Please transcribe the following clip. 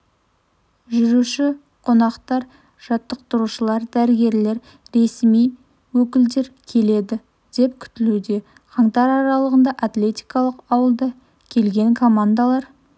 жүруші қонақтар жаттықтырушылар дәрігерлер ресми өкілдер келеді деп күтілуде қаңтар аралығында атлетикалық ауылда келген командалар